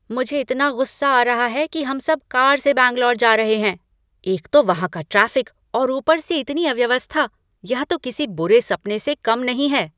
मुझे इतना गुस्सा आ रहा है कि हम सब कार से बैंगलोर जा रहे हैं। एक तो वहाँ का ट्रैफ़िक और ऊपर से इतनी अव्यवस्था, यह तो किसी बुरे सपने से कम नहीं है!